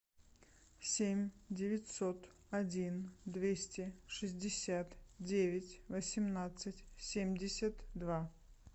семь девятьсот один двести шестьдесят девять восемнадцать семьдесят два